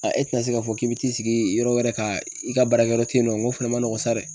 A e tɛna se k'a fɔ k'i bɛ t'i sigi yɔrɔ wɛrɛ ka i ka baarakɛyɔrɔ tɛ yen nɔ, nko fɛnɛ ma nɔgɔn sa dɛ.